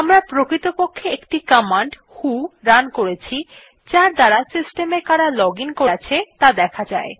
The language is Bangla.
আমরা প্রকৃতপক্ষে একটি কমান্ড ভো রান করেছি যার দ্বারা সিস্টেম এ কারা লগ আইএন করে আছে ত়া দেখা যায়